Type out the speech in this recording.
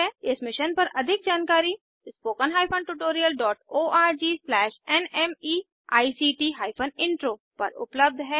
इस मिशन पर अधिक जानकारी spoken hyphen tutorial dot org slash NMEICT hyphen intro पर उपलब्ध है